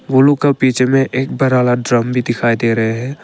Blue का बीच में एक बड़ा वाला ड्रम भी दिखाई दे रहे हैं।